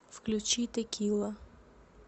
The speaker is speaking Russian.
включи текила